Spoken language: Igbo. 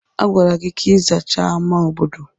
A gwara gị ka ị zachaa ámá obodo!